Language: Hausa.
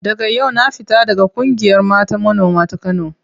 Daga yau na fita daga ƙungiyar mata manoma ta Kano.